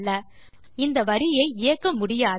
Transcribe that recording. அது சொல்வது இந்த வரியை இயக்க முடியாது